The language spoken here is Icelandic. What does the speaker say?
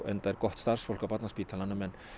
enda er gott starfsfólk á Barnaspítalanum en